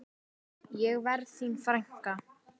Ég verð þín frænka.